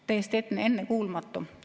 Täiesti ennekuulmatu!